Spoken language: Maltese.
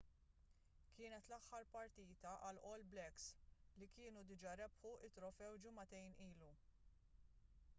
kienet l-aħħar partita għall- all blacks” li kienu diġà rebħu t-trofew ġimagħtejn ilu